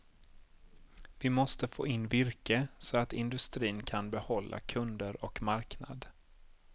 Vi måste få in virke, så att industrin kan behålla kunder och marknad.